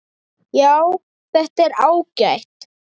Já, þetta er ágætt.